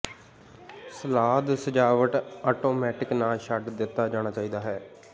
salad ਸਜਾਵਟ automatic ਨਾ ਛੱਡ ਦਿੱਤਾ ਜਾਣਾ ਚਾਹੀਦਾ ਹੈ